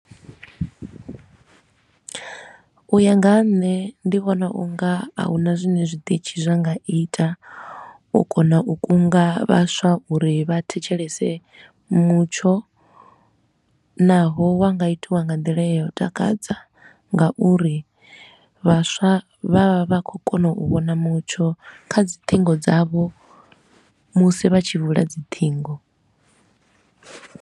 U ya nga ha nṋe ndi vhona u nga a huna zwine zwiṱitshi zwa nga ita u kona u kunga vhaswa uri vha thetshelese mutsho, naho wa nga itiwa nga nḓila ya u takadza nga uri vhaswa vha vha vha khou kona u vhona mutsho kha dzi ṱhingo dzavho musi vha tshi vula dzi ṱhingo.